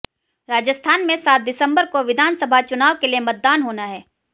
राजस्थान में सात दिसंबर को विधानसभा चुनाव के लिए मतदान होना है